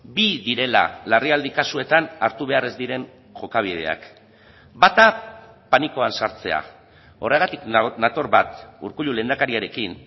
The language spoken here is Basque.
bi direla larrialdi kasuetan hartu behar ez diren jokabideak bata panikoan sartzea horregatik nator bat urkullu lehendakariarekin